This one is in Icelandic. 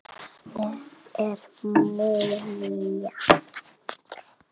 Ég er múmían.